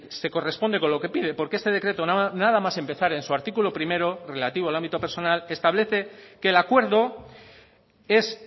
se corresponde con lo que pide porque este decreto nada más empezar en su artículo primero relativo al ámbito personal establece que el acuerdo es